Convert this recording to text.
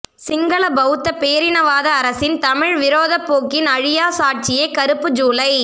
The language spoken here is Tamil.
சிங்கள பௌத்த பேரினவாத அரசின் தமிழர் விரோதப்போக்கின் அழியா சாட்சியே கறுப்பு ஜூலை